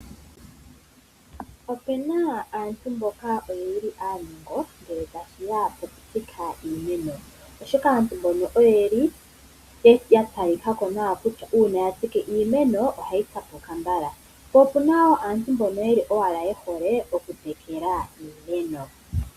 Opu na aantu mboka ye li aanongo ngele tashi ya pokutsika iimeno, oshoka aantu mboka oye li ya talika ko kutya uuna ya tsike iimeno ohayi tsapuka mbala, po opu na wo aantu mboka ye hole okutekela iimeno.